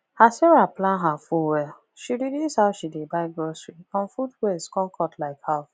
as sarah plan her food well she reduce how she dey buy grocery and food waste come cut like half